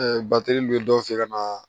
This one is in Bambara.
bateli dun ye dɔw fe yen ka na